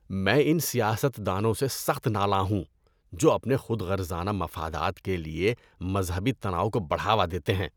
میں ان سیاست دانوں سے سخت نالاں ہوں جو اپنے خود غرضانہ مفادات کے لیے مذہبی تناؤ کو بڑھاوا دیتے ہیں۔